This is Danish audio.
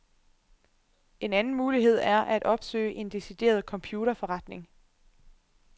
En anden mulighed er at opsøge en decideret computerforretning.